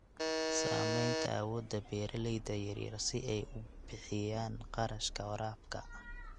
Saamaynta awoodda beeralayda yaryar si ay u bixiyaan kharashka waraabka.